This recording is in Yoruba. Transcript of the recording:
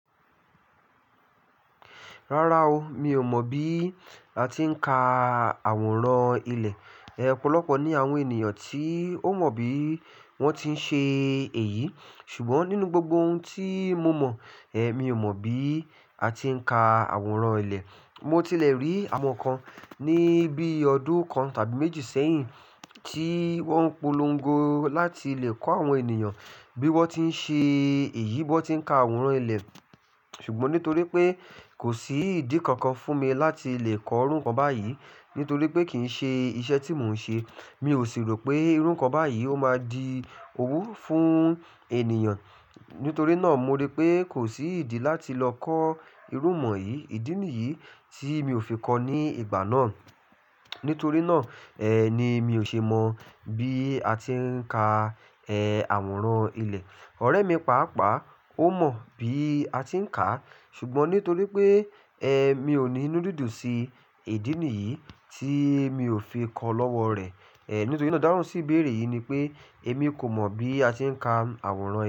Rárá o, mi ò mọ̀ bí a ti ń ka àwòrán ilẹ̀. Ẹ̀ ọ̀pọ̀lọpọ̀ ni àwọn ènìyàn tí ó mọ̀ bí wón ti ń ṣe èyí. Ṣùgbọ́n nínú gbogbo ohun tí mo mọ̀, mi ò mọ̀ bí a ti ń ka àwòrán ilẹ̀. Mo tilẹ̀ rí àwọn kan ní bí ọdún kan tàbí méjì sẹ́yìn, tí wọ́n polongo láti lè kọ́ àwọn ènìyàn bí wọ́n ti ń ṣe èyí, bí wọ́n ti ń ka àwòrán ilẹ̀. Ṣùgbọ́n nítorí pé kò sí ìdí kankan fún mi láti lè kọ́ irú nǹkan báyìí, nítorí pé kì ń ṣe iṣẹ́ tí mò ń ṣe. Mi ò sì rò pé irú nǹkan báyìí ó máa di owú fún ènìyàn. Nítorí náà mo rí pé kò sí ìdí láti lọ kọ́ irú ìmọ̀ yìí, ìdí nìyí tí mi ò fi kọ́ ní ìgbà náà. Nítorí náà, ni mi ò ṣe mọ̀ bí a ti ń ka àwòrán ilẹ̀. Ọ̀rẹ́ mi, pàápàá ó mọ̀ bí a ti ń kà. Ṣùgbọ́n nítorí pé mi ò ní inú dídùn sí ìdí nìyí tí mi ò fi kọ́ lọ́wọ́ rẹ̀. Nítorí ná idáhùn sí ìbéèrè yìí ni pé èmi kò mọ̀ bí a ti ń ka àwòrán ilẹ̀